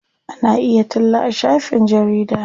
Ana iya talla a shafin jarida.